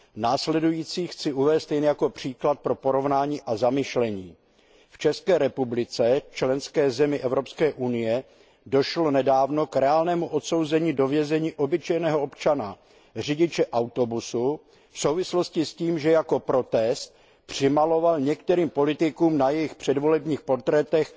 Následující chci uvést jen jako příklad pro porovnání a zamyšlení v České republice, členské zemi Evropské unie, došlo nedávno k reálnému odsouzení do vězení obyčejného občana, řidiče autobusu, v souvislosti s tím, že jako protest přimaloval některým politikům na jejich předvolebních portrétech